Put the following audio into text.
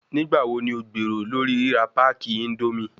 Nigbawo ni o gbero lori rira packi indomie?